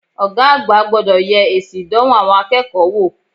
Ògá àgbà gbodò ye èsì ìdánwò àwon akéèkó wò